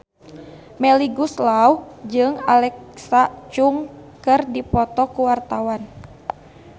Melly Goeslaw jeung Alexa Chung keur dipoto ku wartawan